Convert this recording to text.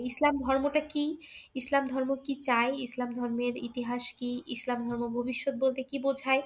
ইসলাম ধর্মটা কী? ইসলাম ধর্ম কী চায়? ইসলাম ধর্মের ইতিহাস কী? ইসলাম ধর্ম ভবিষ্যৎ বলতে কী বুঝায়